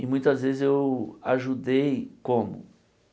E muitas vezes eu ajudei como?